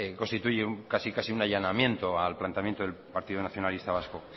constituye casi casi un allanamiento al planteamiento del partido nacionalista vasco